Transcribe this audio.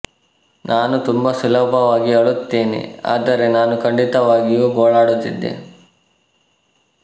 ನಾನು ತುಂಬಾ ಸುಲಭವಾಗಿ ಅಳುತ್ತೇನೆ ಆದರೆ ನಾನು ಖಂಡಿತವಾಗಿಯೂ ಗೋಳಾಡುತ್ತಿದ್ದೆ